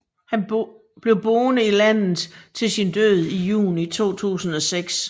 Han blev boende i landet til sin død i juni 2006